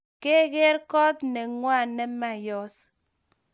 Kegeer koot nengway nemayos?